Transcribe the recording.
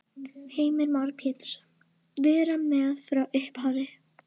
Heimir Már Pétursson: Vera með frá upphafi?